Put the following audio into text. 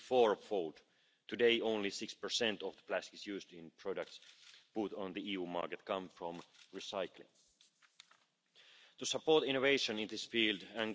waste provisions. The Interface Communication is currently being considered by stakeholders, and an open consultation is running until the